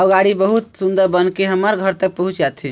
अउ गाडी बहुत सुन्दर बनके हमर घर तक पहुंच जाथे।